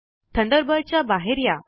Thunderbird च्या बाहेर या